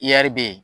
be yen